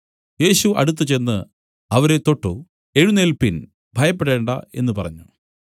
യേശു അടുത്തുചെന്ന് അവരെ തൊട്ടു എഴുന്നേല്പിൻ ഭയപ്പെടേണ്ടാ എന്നു പറഞ്ഞു